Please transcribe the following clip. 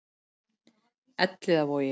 Elliðavogi